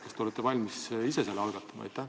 Kas te olete valmis ise selle algatama?